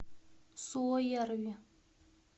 суоярви